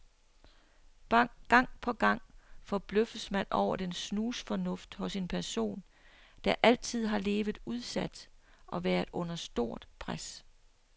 Gang på gang forbløffes man over den snusfornuft hos en person, der altid har levet udsat og været under stort pres.